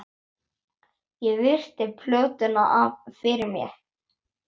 Ég virti plötuna fyrir mér.